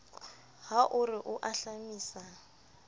ha o re o ahlamisa